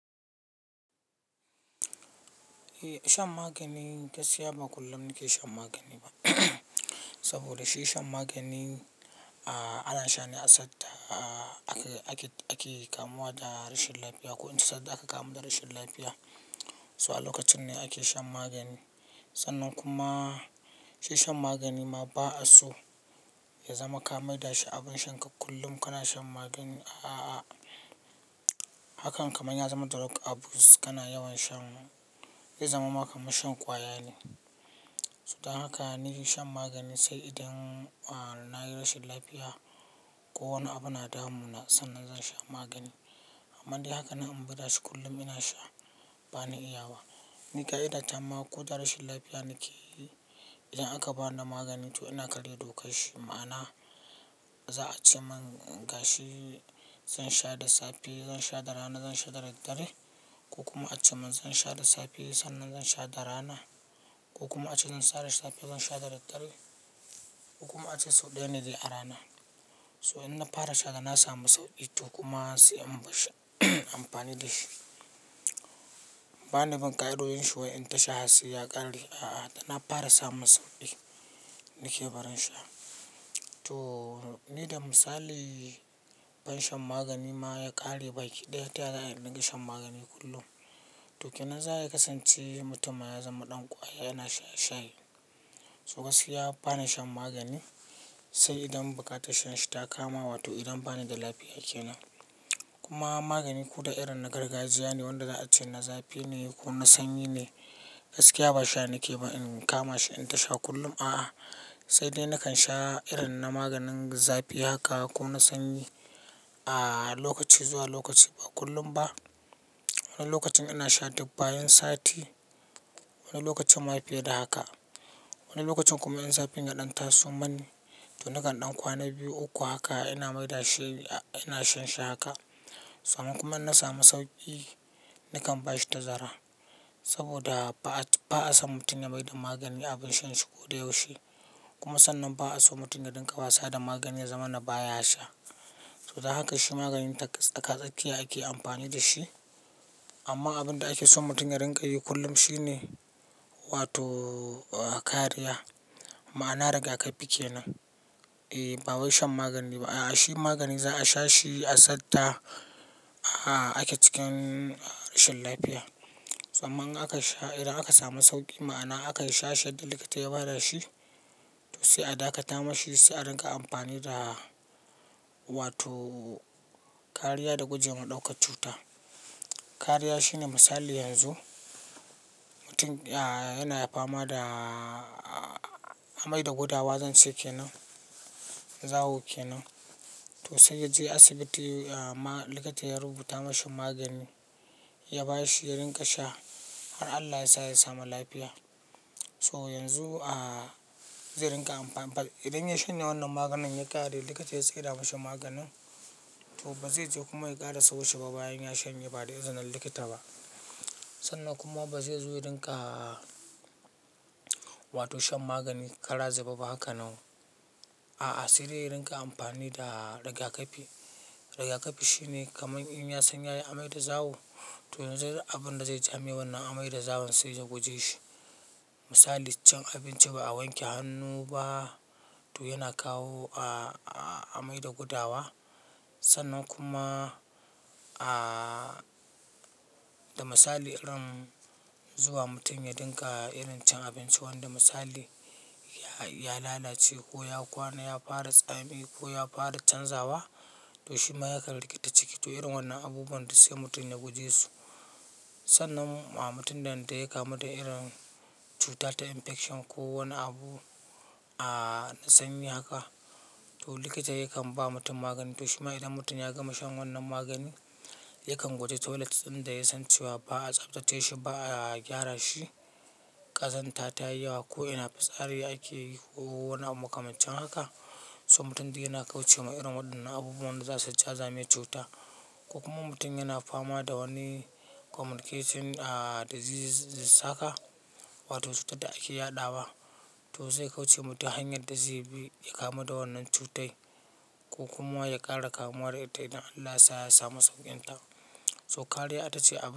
Eh shan magani gaskiya ba kullum nake shan magani ba. Saboda shi shan magani, a-a ana sha ne a sata ake-ake-ake kamuwa da rashin lafiya. Ko ince sadda aka kamu da rashin lafiya, kuwa lokacin ne ake shan magani. Sannan kuma shi shan magani ma ba'a so ya zama kamar da shi abin sha ka kullum kana shan magani. A'a, hakan kamar ya zama drug abuse kana yawan shan, ya zama maka kamar shan kwaya ne. So dan haka ni shan magani sai idan a-a nayi rashin lafiya ko wani abu na damu na, sannan zan sha magani. Amma dai haka na ambaɗa shi kullum ina sha, ba ni iya ba. Ni ƙa'iɗa ta ma ko da rashin lafiya nake, idan aka bani magani to ina karya dokar shi. Ma'ana za a ce mun gashi, zan sha da safe, zan sha da rana, zan sha da daddare. Ko kuma a ce mun zan sha da safe sannan zan sha da rana, ko kuma a ce zan sha da safe, zan sha da daddare ko kuma a ce sau ɗaya ne da rana. So in na fara sha haka na samu sauƙi to kuma sai in bashshi amfani da shi. Ba ni bin ƙa'idoyin shi wai in tasha hatsai ya ƙare. A'a, da na fara samu sauƙi nake barin sha. To ni da misali ban shan magani ma ya ƙare ba. Kiɗaya taya na riƙe shan magani kullum. To ke nan za'a iya kasance mutum ya zama ɗan kwaya yana shaye-shaye. So gaskiya ba na shan magani sai idan buƙatar shan shi ta kama, wato idan bani da lafiya ke nan. Kuma magani ko da irin na gargajiya ne wanda za a ce na zafi ne ko na sanyi ne, gaskiya ba sha nake ba. In kama shi in tasha kullum a'a, sai dai nakan sha irin na maganin zafi haka ko na sanyi a lokaci zuwa lokaci ba kullum ba. Wani lokacin ana sha duk bayan sati, wani lokacin ma fiye da haka. Wani lokacin kuma in zafin ya ɗantasu manni to nakan ɗan kwana biyu uku haka ina mai da she, a ina shan shi haka. Tsannan kuma in na samu sauƙi, nakan bashi tazara. Saboda ba'a-ba'a sam mutum ya maida magani abin shan shi ko da yaushe. Kuma sannan ba'a so mutum ya riƙa wasa da magani ya zama na baya sha. So dan haka shi maganin taka-takatsakiya ake amfani da shi. Amma abin da ake so mutum ya riƙa yi kullum shi ne, wato kariya. Ma'ana rigakafi ke nan. Eh, ba wai shan magani ba. A'a, shi magani za a sha shi a sata a-a ake cikin rashin lafiya. Tsamman aka sha idan aka samu sauƙi ma'ana aka sha yadda likita ya ba da shi to sai a dakata mashi sai a riƙa amfani da wato kariya da gujewa ɗaukar cuta. Kariya shine misali yanzu mutum a-a yana fama da a-a-amai da gudawa zan ce ke nan zawo ke nan. To sai ya je asibiti a ma likita ya rubuta mashi magani ya ba shi ya riƙa sha har Allah yasa ya samu lafiya. So yanzu a zai riƙa amfani. Idan ya shanye wannan maganin ya ƙare, likita ya tsira mashi maganin to ba zai je kuma ya ƙara sau she ba bayan ya shanye ba da izinin likita ba. Sannan kuma ba zai zo ya riƙa wato shan magani kara zu be ba haka nan. A'a, sai dai ya riƙa amfani da rigakafi. Rigakafi shine kamar in ya san ya yi amai da zawo to abin da zai jame wannan amai da zawon sai ya guje shi. Misali can abinci ba a wanke hannu ba to yana kawo a-a-amai da gudawa. Sannan kuma a da misali irin zuwa mutum ya riƙa irin can abinci wanda misali ya lalace ko ya kwana ya fara tsami ko ya fara canzawa to shi ma ya ƙan rikita ciki. To irin wannan abubuwan dussai mutum ya guje su. Sannan a mutum idan ta yi kamu da irin cutar ta infection ko wani abu a na sanyi haka to likita yakan ba mutum magani. To shima idan mutum ya gama shan wannan magani, yakan guje toilet inda ya san cewa ba'a tsaftace shi ba a gyara shi. Kazanta ta yi yawa ko ina fitsari ake yi ko wani abu kamar cin haka. So mutum dai yana kauce wa irin waɗannan abubuwan da za su ja zame cuta. Ko kuma mutum yana fama da wani communication a disease saka, wato cutar da ake yaɗawa to sai kauce mutum hanyar da zai bi ya kamu da wannan cutar. Ko kuma ya ƙara kamuwa da ita idan Allah yasa ya samu sauƙin ta. So kariya ita ce abu.